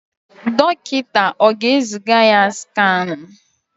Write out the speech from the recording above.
Dọkịta ọ ga-eziga ya skanụ?